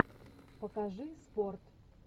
покажи спорт